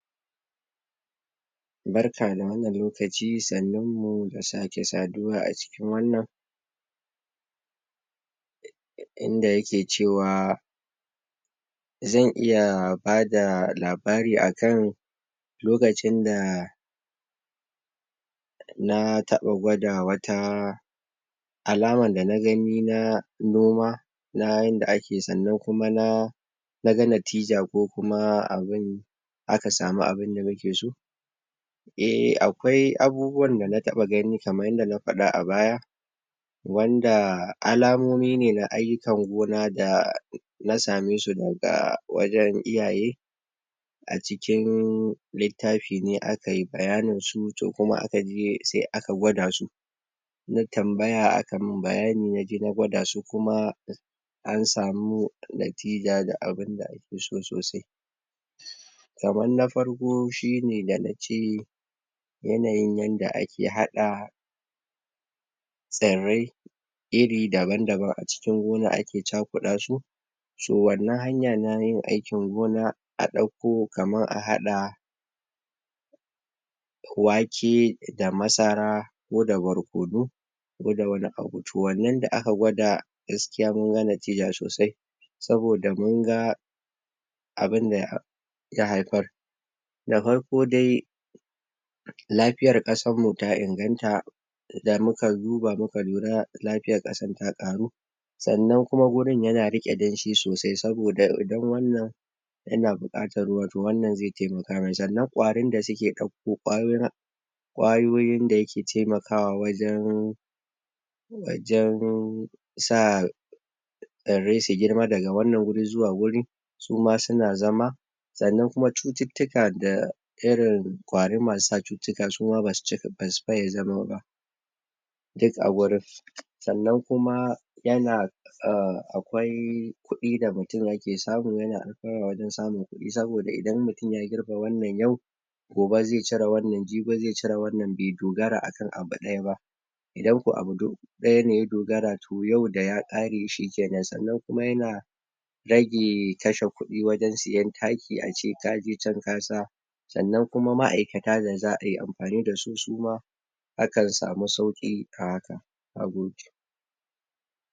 Barka da wannan lokaci, sannnmu da sake saduwa a cikin wannan inda yake cewa zan iya bada labari akan lokacin da... dana taba gwada wata alaman da na gani na noma na yadda ake sannan kuma na... naga natija kokuma abin aka sama abin da nake so eh.. akwai abubuwan dana taba gani kaman yanda na faɗa a baya wanda alamomi ne na aiyukan gona da.. dana same su daga wajen iyaye a jikin littafi ne akayi bayaninsu to kuma aka biye, sai aka gwada su na tambaya aka min bayani naje gwada su kuma an samu natija da abinda ake so sosai kaman na farko shine, danace yanayin yanda ake haɗa tsirrai iri daban-daban a cikin gonan ake chakuɗa su so wannan hanya nayin aikin gona a dauko kaman a haɗa wake da masara koda barkono koda wani abu, to wannan da aka gwada gaskiya munga natija sosai saboda munga abunda ya haifar da farko dai lafiyar kasarmu da inganta da muka duba muka lura lafiyan kasar ta karu sannan kuma wajen yana rike danshi sosai yana bukatar ruwa, to wannan zai taimaka mai, sannan kwarin da suke dauko kwayoyin kwayoyin da yake taimakwa wajen wajen... sa... tsirrai su girma daga wannan guri zuwa wannan guri suma suna zama sannan kuma cuttutuka da irin kwari masu sa cuttutuka suma basu faye zama ba duk a gurin sannan kuma yana akwai kuɗi yake samu yana a wajen samun kuɗi sanoda idan mutum ya girbe wannan yau gobe zai cire wannan jibi zai cire wannan bai dogara akan abu ɗaya ba idan ko a abu ɗaya ne ya dogara to yau da ya kare shikenan sannan kuma yana rage kashe kuɗi wajen siyan taki a ce kaje can ka sa sannan kuma ma'aikata da za'a yi amfani dasu suma akan sama sauki a hakan, nagode